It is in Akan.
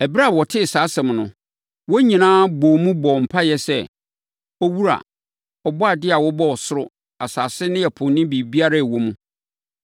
Ɛberɛ a wɔtee saa asɛm no, wɔn nyinaa bɔɔ mu bɔɔ mpaeɛ sɛ, “Owura, Ɔbɔadeɛ a wobɔɔ ɔsoro, asase ne ɛpo ne biribiara a ɛwɔ mu,